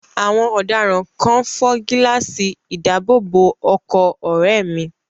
Àwọn ọ̀daràn kan fọ́ gíláàsì ìdáàbòbọ̀ ọkọ̀ ọ̀rẹ́ẹ̀ mi.